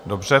Dobře.